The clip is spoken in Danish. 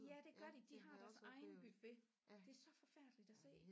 Ja det gør de de har deres egen buffet det er så forfærdeligt at se